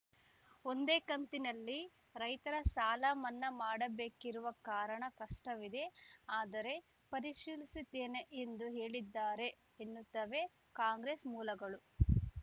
ಒಂದೇ ಕಂತಿನಲ್ಲಿ ರೈತರ ಸಾಲ ಮನ್ನಾ ಮಾಡಬೇಕಿರುವ ಕಾರಣ ಕಷ್ಟವಿದೆ ಆದರೆ ಪರಿಶೀಲಿಸುತ್ತೇನೆ ಎಂದು ಹೇಳಿದ್ದಾರೆ ಎನ್ನುತ್ತವೆ ಕಾಂಗ್ರೆಸ್‌ ಮೂಲಗಳು